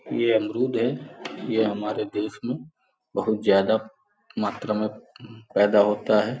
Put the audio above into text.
यह अमरूद है यह हमारे देश में बहुत ज्यादा मात्रा में पैदा होता है.